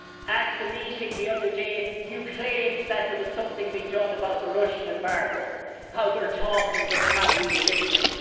At the meeting the other day he claimed that there was something being done about the Russian embargo, how they are talking but they are not really listening.